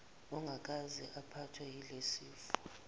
ongakaze aphathwe yilesifo